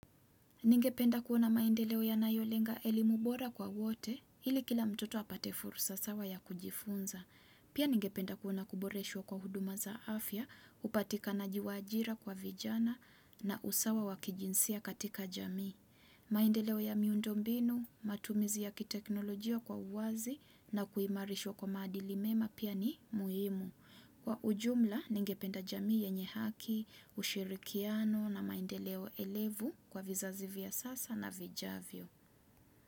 Ningependa kuona maendeleo yanayolenga elimu bora kwa wote, ili kila mtoto apate fursa sawa ya kujifunza. Pia ningependa kuona kuboreshwa kwa huduma za afya, upatikanaji wa ajira kwa vijana na usawa wakijinsia katika jamii. Maendeleo ya miundombinu, matumizi ya kiteknolojia kwa uwazi na kuimarishwa kwa madili mema pia ni muhimu. Kwa ujumla, ningependa jamii yenye haki, ushirikiano na maendeleo elevu kwa vizazi vya sasa na vijavyo.